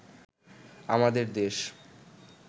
আমাদের দেশ